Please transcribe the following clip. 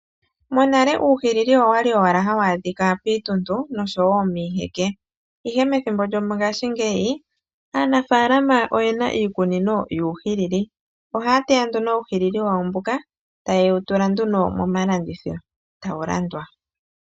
Monale uuhwilili owa li ha wu adhika piintuntu noshowo miiheke, ihe methimbo lyongashingeyi aanafaalama oye na iikunino yuhwilili, ohaya teya nduno uuhwilili wawo mboka taye wu tula nduno momalandithilo tawu landwa